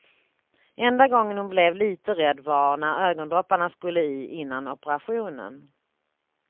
Enda gången hon blev lite rädd var när ögondropparna skulle i innan operationen.